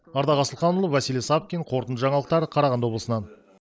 ардақ асылханұлы василий савкин қорытынды жаңалықтар қарағанды облысынан